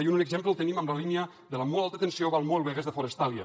i un exemple el tenim en la línia de molt alta tensió valmuel begues de forestalia